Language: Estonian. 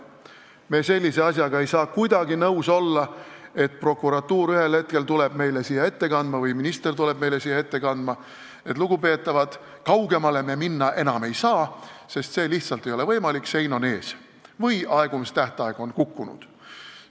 Me ei saa kuidagi nõus olla, et prokuratuur või minister tuleb ühel hetkel meile siia ette kandma ja ütleb, et lugupeetavad, kaugemale me minna ei saa, see lihtsalt ei ole võimalik – sein on ees või aegumistähtaeg on kukkunud.